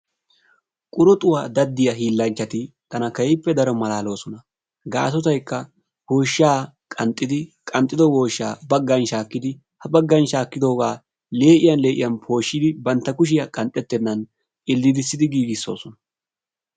Qururxxuwa daddiyaa hiillanchcati tana keehippe malaloosona. Gassoykk awoyshsha qaxxidi, ha qanxxido woyshsha, baggan shaakkidi, ha baggan shaakkodooga lee'iyaan lee'iyaan pooshsidi bantta kushiyaa qanxxetennan ilddidissi giigisoosona.